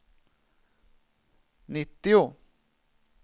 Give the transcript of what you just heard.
nittio